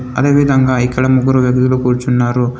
అదేవిధంగా ఇక్కడ ముగ్గురు వ్యక్దులు కూర్చున్నారు.